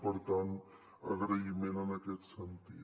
per tant agraïment en aquest sentit